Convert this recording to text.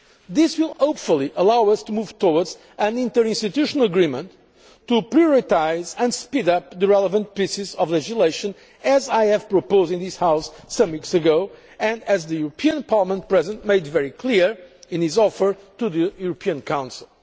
This will hopefully allow us to move towards an interinstitutional agreement to prioritise and speed up the relevant pieces of legislation, as I proposed in this House some weeks ago and as the European Parliament President made very clear in his offer to the European Council.